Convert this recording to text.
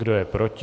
Kdo je proti?